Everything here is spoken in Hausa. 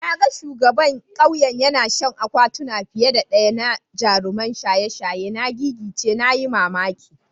Na ga shugaban kauyen yana shan akwatuna fiye da daya na jaruman shaye-shaye. Na gigice (na yi mamaki.